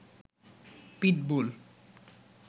pitbull